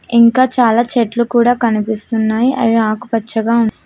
ఇంకా చాలా చెట్లు కూడా కనిపిస్తున్నాయి అవి ఆకుపచ్చగా ఉన్--